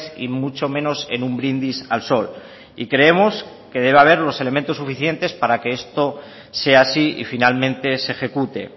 y mucho menos en un brindis al sol y creemos que debe haber los elementos suficientes para que esto sea así y finalmente se ejecute